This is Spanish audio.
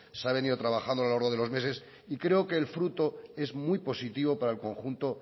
se ha venido trabajando a lo largo de los meses y creo que el fruto es muy positivo para el conjunto